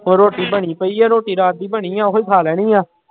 ਹੋਰ ਰੋਟੀ ਬਣੀ ਪਈ ਆ, ਰੋਟੀ ਰਾਤ ਦੀ ਬਣੀ ਆਂ ਉਹੀ ਖਾ ਲੈਣੀ ਆਂ।